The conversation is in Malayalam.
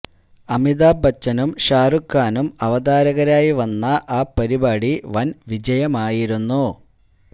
അമിതാഭ് ബച്ചനും ഷാരൂഖ് ഖാനും അവതാരകരായി വന്ന ആ പരിപാടി വന് വിജയമായിരുന്നു